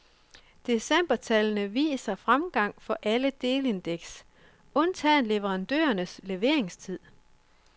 Decembertallene viser fremgang for alle delindeks, undtagen leverandørenes leveringstid.